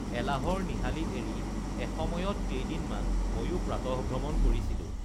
এলাহৰ নিহালি এৰি এসময়ত কেইদিনমান ময়ো প্ৰাতঃভ্ৰমণ কৰিছিলোঁ